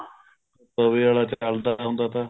ਤਵੇ ਵਾਲਾ ਚੱਲਦਾ ਹੁੰਦਾ ਤਾ